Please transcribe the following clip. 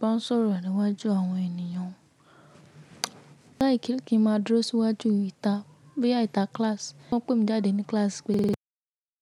Bá n sọ̀rọ̀ níwájú àwọn ènìyàn o. Kí ń máa dúró síwájú ìta boyay ìta kíláàsì. Wọn pè mi jáde ní kíláàsì pé.